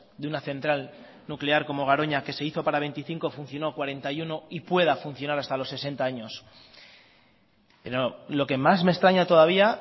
de una central nuclear como garoña que se hizo para veinticinco funcionó cuarenta y uno y pueda funcionar hasta los sesenta años pero lo que más me extraña todavía